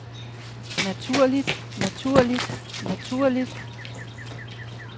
naturligt naturligt naturligt